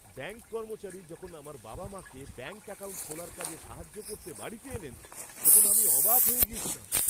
Bank কর্মচারী যখন আমার বাবা মাকে ব্যাঙ্ক অ্যাকাউন্ট খোলার কাজে সাহায্য করতে বাড়িতে এলেন, তখন আমি অবাক হয়ে গিয়েছিলাম।